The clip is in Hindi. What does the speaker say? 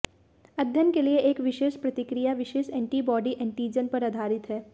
अध्ययन के लिए एक विशेष प्रतिक्रिया विशेष एंटीबॉडी एंटीजन पर आधारित है